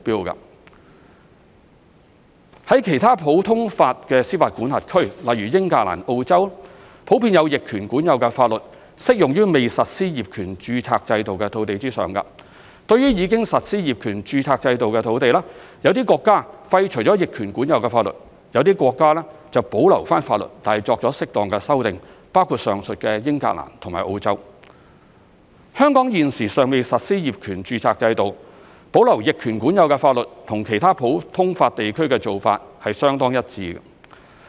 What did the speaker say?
於其他普通法司法管轄區，普遍有逆權管有法律，適用於未實施業權註冊制度的土地上，對於已實施業權註冊制度的土地，有些國家廢除逆權管有法律，有些國家則保留法律但作出適當的修訂。香港現時尚未實施業權註冊制度，保留逆權管有的法律與其他普通法地區的做法相當一致。